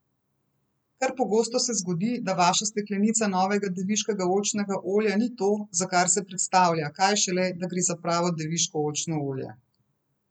Kar pogosto se zgodi, da vaša steklenica novega deviškega oljčnega olja ni to, za kar se predstavlja, kaj šele, da gre za pravo deviško oljčno olje.